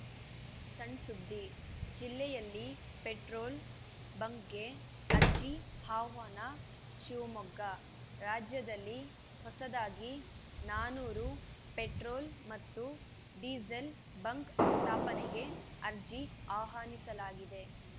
ಸಣ್‌ಸುದ್ದಿ ಜಿಲ್ಲೆಯಲ್ಲಿ ಪೆಟ್ರೋಲ್‌ ಬಂಕ್‌ಗೆ ಅರ್ಜಿ ಆಹ್ವಾನ ಶಿವಮೊಗ್ಗ ರಾಜ್ಯದಲ್ಲಿ ಹೊಸದಾಗಿ ನಾನೂರು ಪೆಟ್ರೋಲ್‌ ಮತ್ತು ಡೀಸೆಲ್‌ ಬಂಕ್‌ ಸ್ಥಾಪನೆಗೆ ಅರ್ಜಿ ಆಹ್ವಾನಿಸಲಾಗಿದೆ